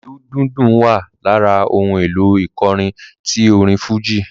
Ìlù dùndún wa lára ohùn èlò ìkọrin tí orin fújì